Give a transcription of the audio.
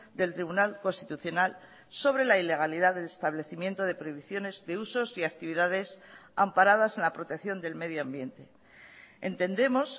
del tribunal constitucional sobre la ilegalidad del establecimiento de prohibiciones de usos y actividades amparadas en la protección del medio ambiente entendemos